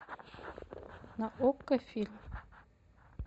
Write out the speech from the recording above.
на окко фильм